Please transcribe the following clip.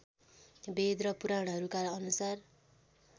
वेद र पुराणहरूका अनुसार